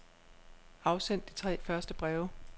Afsend de tre første breve.